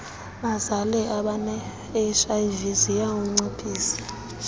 bazale abanehiv ziyawunciphisa